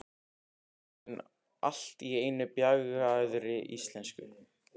sagði vínsalinn allt í einu á bjagaðri íslensku.